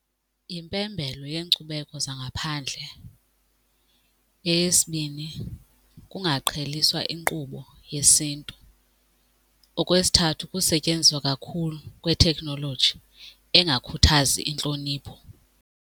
Impembelo yeenkcubeko zangaphandle. Eyesibini, kungaqheliswa inkqubo yesiNtu. Okwesithathu, kusetyenziswa kakhulu kwetekhnoloji engakhuthazi intlonipho.